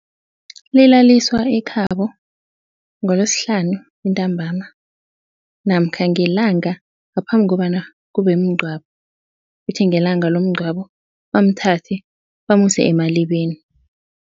Lilaliswa ekhabo ngoLosihlanu entambama namkha ngelanga ngaphambi kobana kube mngcwabo. Kuthi ngelanga lomngcwabo bamthathe bamuse emalibeni.